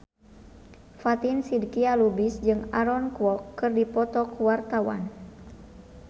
Fatin Shidqia Lubis jeung Aaron Kwok keur dipoto ku wartawan